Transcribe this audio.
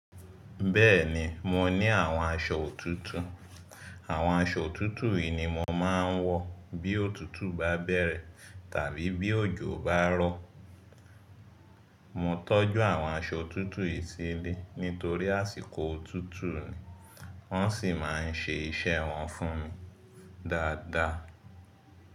Bẹ́ẹ̀ni mo ní àwọn aṣọ òtútù, àwọn aṣọ òtútù yìí ni mo máa ń wọ̀ bí òtútù bá bẹ̀rẹ̀ tàbí bí òjò bá rọ̀. Mo tọ́jú àwọn aṣọ òtútù yìí sílé nítorí àsìkò òtútù ni wọ́n sì máa ń ṣe iṣẹ́ wọn fún mi dáadáa.